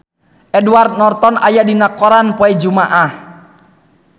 Edward Norton aya dina koran poe Jumaah